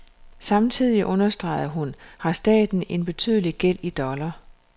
Samtidig, understregede hun, har staten en betydelig gæld i dollar.